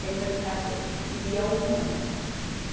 Sem perguntar se eu quis, queria ou não.